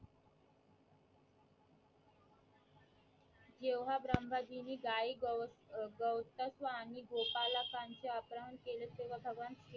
जेव्हा भ्रमजी ने गाय गव अं गवंतस्व आणि गोपालकांचे अपहरण केले तेव्हा भगवान